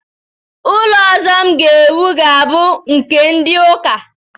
Ụlọ ọzọ m ga-ewu ga-abụ nke ndị ụka